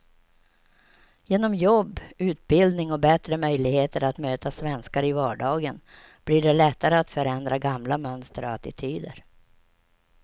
Genom jobb, utbildning och bättre möjligheter att möta svenskar i vardagen blir det lättare att förändra gamla mönster och attityder.